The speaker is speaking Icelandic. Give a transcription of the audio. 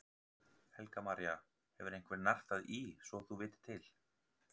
Helga María: Og hefur einhver nartað í svo þú vitir til?